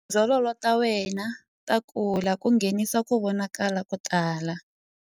Tindzololo ta wena ta kula ku nghenisa ku vonakala ko tala.